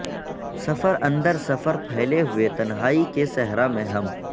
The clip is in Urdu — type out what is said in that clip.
سفر اندر سفر پھیلے ہوئے تنہائی کے صحرا میں ہم